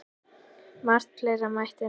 Margt fleira mætti nefna.